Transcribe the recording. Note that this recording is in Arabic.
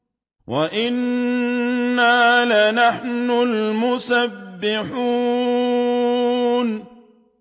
وَإِنَّا لَنَحْنُ الْمُسَبِّحُونَ